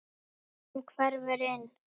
Hann hverfur inn.